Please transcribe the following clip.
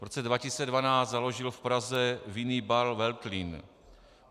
V roce 2012 založil v Praze vinný bar Veltlín.